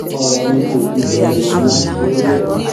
ọrọ mi kò jù bẹẹ lọ mọ lórí ẹ